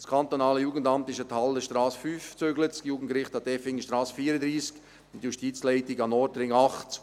Das kantonale Jugendamt zügelte an die Hallerstrasse 5, das Jugendgericht an die Effingerstrasse 34, und die Justizleitung an den Nordring 8.